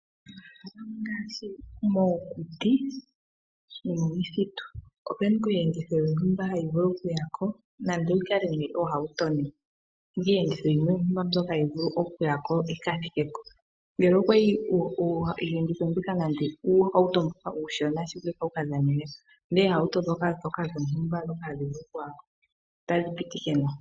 Oohauto oha dhi kwathele aantu ya ye shaampoka ya hala okuya. Odha pumbwa owala omahooli nomuntu ngoka eshi oku shinga nawa.